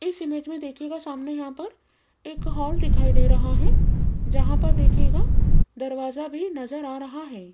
इस इमेज में देखिएगा सामने यहां पर एक हॉल दिखाई दे रहा है जहां पर देखिएगा दरवाजा भी नजर आ रहा है।